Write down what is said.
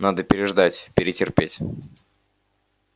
надо переждать перетерпеть